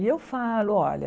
E eu falo, olha,